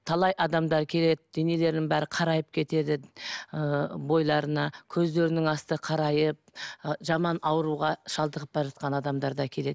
талай адамдар келеді денелерінің бәрі қарайып кетеді ы бойларына көздерінің асты қарайып ы жаман ауруға шалдығып бара жатқан адамдар да келеді